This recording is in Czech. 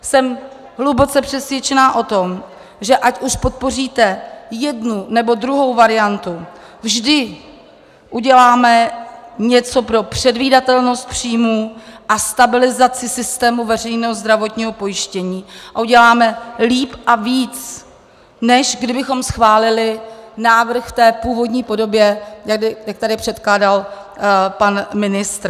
Jsem hluboce přesvědčena o tom, že ať už podpoříte jednu, nebo druhou variantu, vždy uděláme něco pro předvídatelnost příjmů a stabilizaci systému veřejného zdravotního pojištění a uděláme líp a víc, než kdybychom schválili návrh v té původní podobě, jak tady předkládal pan ministr.